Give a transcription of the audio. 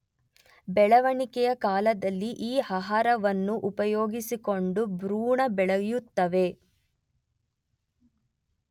ಬೆಳವಣಿಗೆಯ ಕಾಲದಲ್ಲಿ ಈ ಆಹಾರವನ್ನು ಉಪಯೋಗಿಸಿಕೊಂಡು ಭ್ರೂಣ ಬೆಳೆಯುತ್ತದೆ.